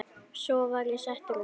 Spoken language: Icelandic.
Svo var ég settur út.